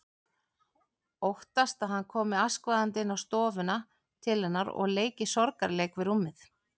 Óttast að hann komi askvaðandi inn á stofuna til hennar og leiki sorgarleik við rúmið.